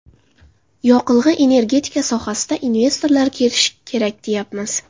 Yoqilg‘i-energetika sohasiga investorlar kelishi kerak, deyapmiz.